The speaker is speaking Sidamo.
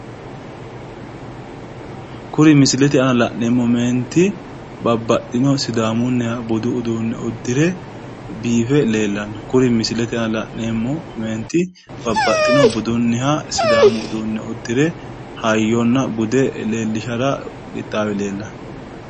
Kuri misilete aana leella amuwi budu uduunne uddire budensa leellishara qixxaawe noota leellishanno misileeti